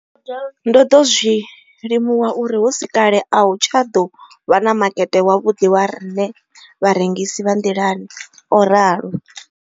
Ndo ḓo zwi limuwa uri hu si kale a hu nga tsha ḓo vha na makete wavhuḓi wa riṋe vharengisi vha nḓilani, o ralo.